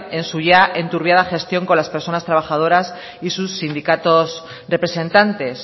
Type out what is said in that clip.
en su ya enturbiada gestión con las personas trabajadoras y sus sindicatos representantes